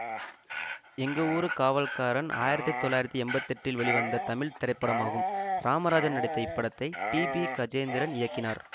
எங்க ஊரு காவல்காரன் ஆயிரத்தி தொள்ளாயிரத்தி எம்பத்தி எட்டில் வெளிவந்த தமிழ் திரைப்படமாகும் ராமராஜன் நடித்த இப்படத்தை டி பி கஜேந்திரன் இயக்கினார்